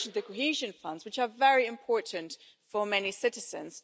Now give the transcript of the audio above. You've mentioned the Cohesion Funds, which are very important for many citizens.